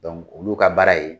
olu ka baara ye